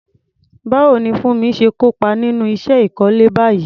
Báwo ni Funmi ṣe kópa nínú iṣẹ́ ìkọ́lé báyìí?